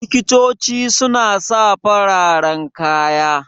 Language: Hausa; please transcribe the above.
Likitoci su na sa fararen kaya